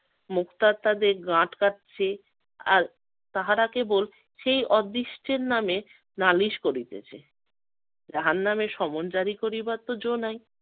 মুখটা তাদের গা আটকাচ্ছে, আর তাহারা কে বলছে সেই অদৃষ্টের নামে নালিশ করিতেছে। জাহান্নামের সমনজারি করিবার তো জো নাই